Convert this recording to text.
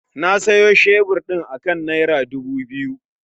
Na sayi shebur ɗin akan nera dubu biyu